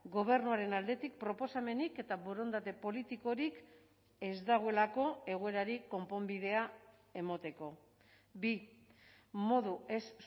gobernuaren aldetik proposamenik eta borondate politikorik ez dagoelako egoerari konponbidea emateko bi modu ez